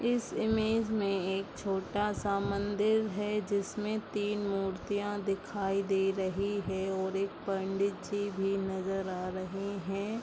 इस इमेज में एक छोटा सा मंदिर है जिसमें तीन मूर्तियां दिखाई दे रही हैं और एक पंडित जी भी नजर आ रहे है।